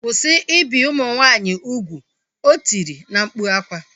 Kwụsị ibi ụmụ nwaanyị ugwu! O tiri na mkpu akwa